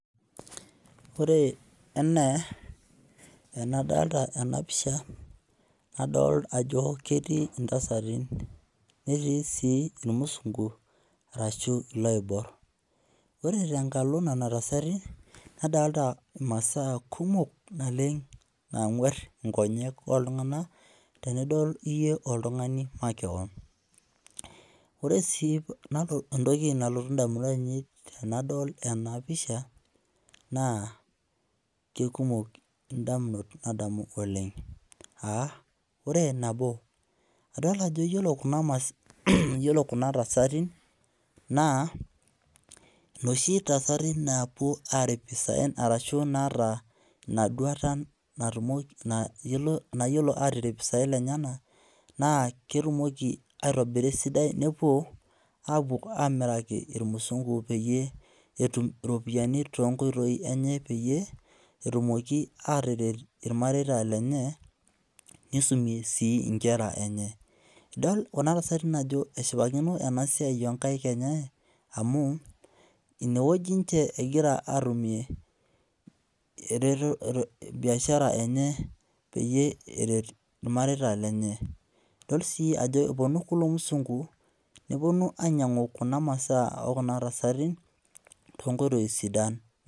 Ore enaa enadolita ena pisha, nadol ajo ketii intasati netii sii irmusunku arashu iloiborr. Ore tenkalo nena tasati, nadolita imasaa kumok nalek naang'warr nkonyek ooltung'anak tenidol iyie oltung'ani makeon. Ore sii entoki nalotu indamunot ainei tenadol ena pisha naa kekumok indamunot nadamu oleng aa ore nabo, adolita ajo iyiolo kuna tasati naa inoshi tasati naapwo aarip isaen arashu naata inaduata natumoki, nayiolo atirip isaen lenyenak naa ketumoki aitobira esidai nepwo aapwo amiraki irmusungu peyie etum iropiyiani toonkoitoi enye peyie etumoki ataret irmareita lenye, nisumie sii inkera enye. Idol kuna tasati ajo eshipakino esia oo nkaik enye amu inewueji ninche egira aatumie biashara enye peyie eret irmareita lenye. Idol sii ajo epwonu kulo musungu, nepwonu ainyang'u kuna masaa oo kuna tasati toonkoitoi sidan